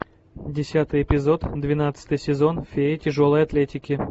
десятый эпизод двенадцатый сезон феи тяжелой атлетики